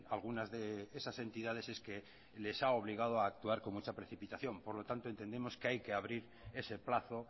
algunas de esas entidades es que les ha obligado a actuar con mucha precipitación por lo tanto entendemos que hay que abrir ese plazo